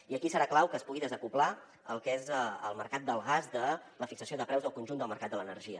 i aquí serà clau que es pugui desacoblar el que és el mercat del gas de la fixació de preus del conjunt del mercat de l’energia